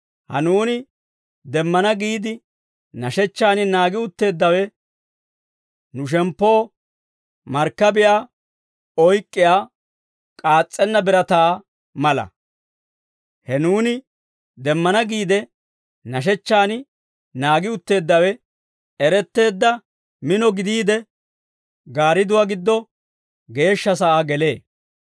Ha nuuni demmana giide nashechchaan naagi utteeddawe, nu shemppoo markkabiyaa oyk'k'iyaa k'aas's'enna birataa mala; he nuuni demmana giide, nashechchaan naagi utteeddawe eretteedda mino gidiide, Gaaridduwaa giddo geeshsha sa'aa gelee.